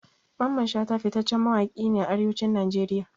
Mamman shata fitaccen mawaƙi ne a Arewacin Najeriya.